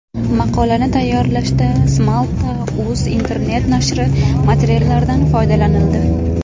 Maqolani tayyorlashda smalta.uz internet-nashri materiallaridan foydalanildi.